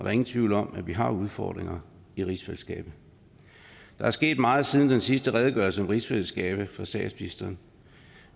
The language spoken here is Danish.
er ingen tvivl om at vi har udfordringer i rigsfællesskabet der er sket meget siden den sidste redegørelse om rigsfællesskabet fra statsministeren